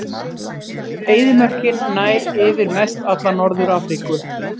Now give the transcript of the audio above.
Eyðimörkin nær yfir mestalla Norður-Afríku.